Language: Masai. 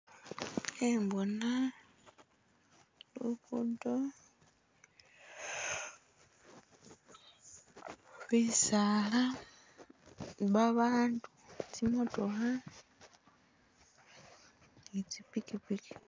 Khenbona lugudo bisaala babandu tsimotookha ni tsipikipiki.